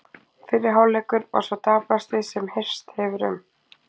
Fyrri hálfleikur var sá daprasti sem heyrst hefur um.